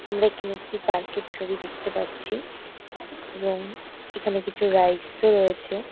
আমরা এখানে একটি পার্ক -এর ছবি দেখতে পাচ্ছি। এবং এখানে কিছু রাইডস -ও রয়েছে।